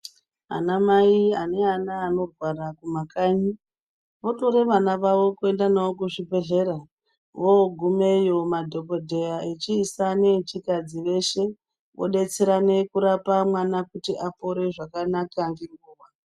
Ana mai ane ana anorwara kumakanyi otore vana vavo kuenda navo kuzvibhedhlera voogumeyo madhokodheya echiisa nechikadzi veshe odetserana kurapa mwana kuti apore zvakanaka ngenguva.